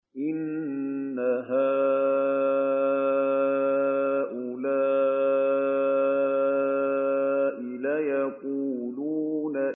إِنَّ هَٰؤُلَاءِ لَيَقُولُونَ